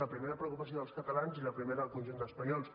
la primera preocupació dels catalans i la primera del conjunt d’espanyols